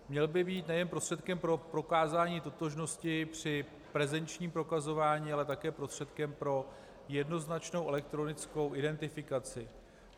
Měl by být nejen prostředkem pro prokázání totožnosti při prezenčním prokazování, ale také prostředkem pro jednoznačnou elektronickou identifikaci.